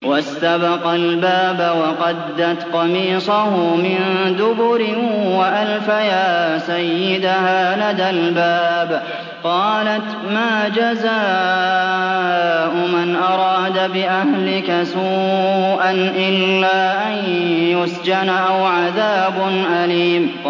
وَاسْتَبَقَا الْبَابَ وَقَدَّتْ قَمِيصَهُ مِن دُبُرٍ وَأَلْفَيَا سَيِّدَهَا لَدَى الْبَابِ ۚ قَالَتْ مَا جَزَاءُ مَنْ أَرَادَ بِأَهْلِكَ سُوءًا إِلَّا أَن يُسْجَنَ أَوْ عَذَابٌ أَلِيمٌ